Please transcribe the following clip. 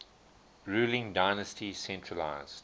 ruling dynasty centralised